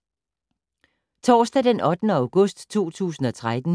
Torsdag d. 8. august 2013